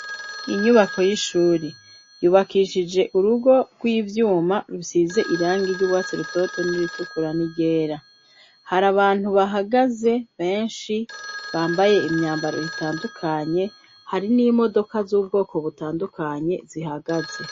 Inyubako y'ishuri yubakishije urugo rw'ivyuma rusize irangi ry'uwatsi rutoto n'iritukurani ryera hari abantu bahagaze benshi bambaye imyambaro itandukanye hari n'imodoka z'ubwoko butandukanye zihagaze.